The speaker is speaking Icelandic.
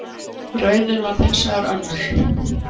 Raunin varð hins vegar önnur.